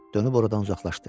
Dönüb oradan uzaqlaşdı.